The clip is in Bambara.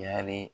Yali